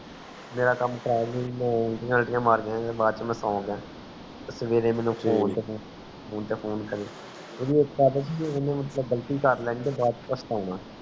ਮੇਰਾ ਕਾਮ ਖਰਾਬ ਸੀ ਮੈਂ ਉਲਟੀਆਂ ਅਲਟੀਆਂ ਤੇ ਵਾਚ ਮੈਂ ਸੌਂ ਗਯਾ ਤੇ ਸਵੇਰੇ ਨੂੰ ਮੈਂ ਤੇ ਸਵੇਰੇ ਨੂੰ phone ਤੇ phone ਗ਼ਲਤੀ ਕਾਰਲੇੰਦੇ ਤੇ ਵਾਚ ਪਛਤਾਉਣਾ